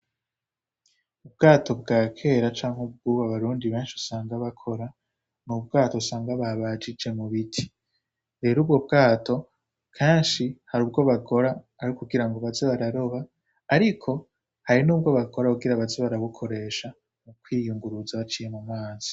Ubwato bwa kera canke ubwuba barundi benshi usanga bakora nu bwato usanga babajije mu biti bero ubwo bwato kanshi hari ubwo bagora ari kugira ngo bazi bararoba, ariko hari n'ubwo bakora kugira bazi barabukoresha mu kwiyunguruza baciye mu mansi.